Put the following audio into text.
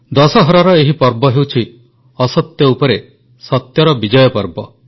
ଦଶହରାର ଏହି ପର୍ବ ହେଉଛି ଅସତ୍ୟ ଉପରେ ସତ୍ୟର ବିଜୟର ପର୍ବ